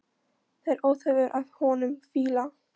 Það er óþefur af honum fýla!